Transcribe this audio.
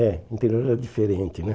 É, o interior era diferente, né?